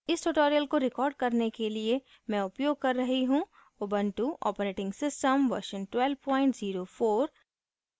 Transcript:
इस tutorial को record करने के लिए मैं उपयोग कर रही हूँ ubuntu operating system version 1204